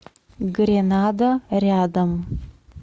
гренада рядом